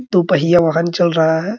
दो पहिया वाहन चल रहा है।